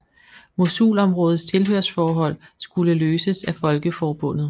Mosulområdets tilhørsforhold skulle løses af Folkeforbundet